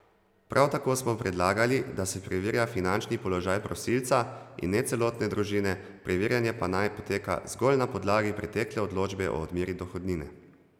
Prav tako smo predlagali, da se preverja finančni položaj prosilca, in ne celotne družine, preverjanje pa naj poteka zgolj na podlagi pretekle odločbe o odmeri dohodnine.